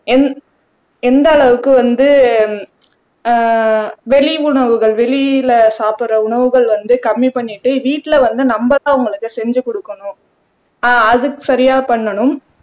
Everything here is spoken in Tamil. எந்த எந்த அளவுக்கு வந்து அஹ் வெளி உணவுகள் வெளியிலே சாப்பிடுற உணவுகள் வந்து கம்மி பண்ணிட்டு வீட்ல வந்து நம்மதான் அவங்களுக்கு செஞ்சு குடுக்கணும் ஆஹ் அதுக்கு சரியா பண்ணணும்